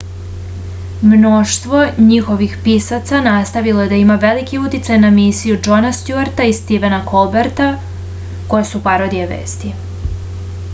mnoštvo njihovih pisaca nastavilo je da ima veliki uticaj na emisije džona stjuarta i stivena kolberta koje su parodije vesti